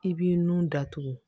I b'i nun datugu